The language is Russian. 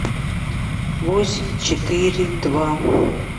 восемь четыре два